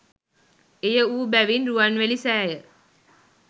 එය වූ බැවින් රුවන්වැලි සෑය